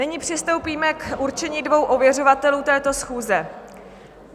Nyní přistoupíme k určení dvou ověřovatelů této schůze.